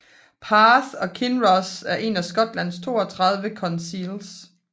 Perth and Kinross er en af Skotlands 32 councils